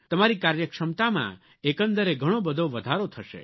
તમારી કાર્યક્ષમતામાં એકંદરે ઘણો બધો વધારો થશે